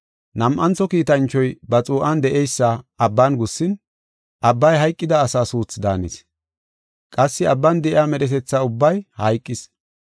Nam7antho kiitanchoy ba xuu7an de7eysa abban gussin, abbay hayqida asa suuthi daanis. Qassi abban de7iya medhetetha ubbay hayqis.